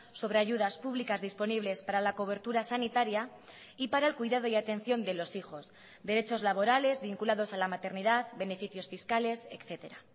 sobre ayudas públicas disponibles para la cobertura sanitaria y para el cuidado y atención de los hijos derechos laborales vinculados a la maternidad beneficios fiscales etcétera